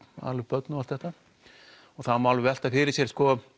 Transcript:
ala upp börn og allt þetta og það má alveg velta fyrir sér